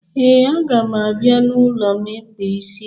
ee, a ga m abia n'ulom ikpa isi gi.